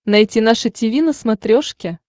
найти наше тиви на смотрешке